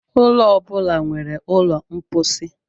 Ụlọ ọ bụla nwere ụlọ mposi.